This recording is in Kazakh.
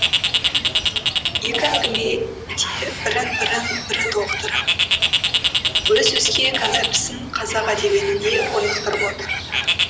екі әңгіме де бірін бірін бірі толықтырып өз өзге концептісін қазақ әдебиетінде орнықтырып отыр